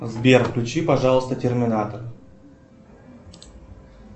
сбер включи пожалуйста терминатор